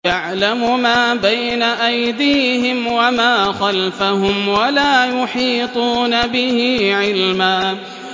يَعْلَمُ مَا بَيْنَ أَيْدِيهِمْ وَمَا خَلْفَهُمْ وَلَا يُحِيطُونَ بِهِ عِلْمًا